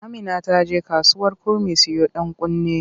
Amina ta je kasuwar kurmi siyo ɗankunne.